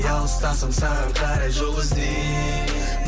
алыстасың саған қарай жол іздей